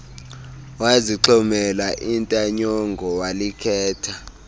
wazixhomela intanyongo walikhetha